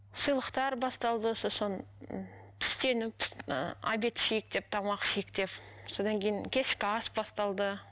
сыйлықтар басталды сосын түстеніп ы обед ішейік деп тамақ ішейік деп содан кейін кешкі ас басталды